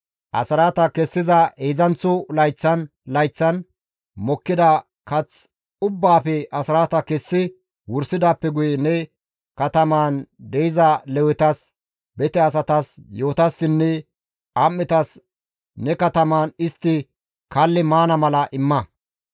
Asraata kessiza heedzdzanththo layththan layththan mokkida kath ubbaafe asraata kessa wursidaappe guye ne katamaan de7iza Lewetas, bete asatas, yi7otassinne am7etas ne katamaan istti kalli maana mala imma.